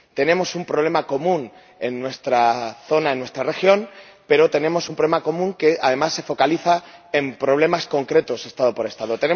Tenemos un problema común en nuestra zona, en nuestra región, pero tenemos un problema común que, además, se focaliza en problemas concretos Estado por Estado.